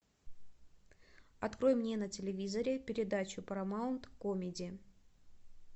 открой мне на телевизоре передачу парамаунт комеди